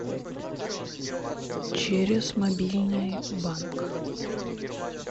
через мобильный банк